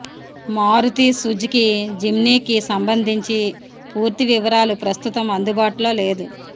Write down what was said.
Maruti Suzuki Jimny కి సంబంధించి పూర్తి వివరాలు ప్రస్తుతం అందుబాటులో లేదు